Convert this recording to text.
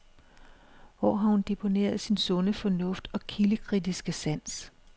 Hvor har hun deponeret sin sunde fornuft og kildekritiske sans?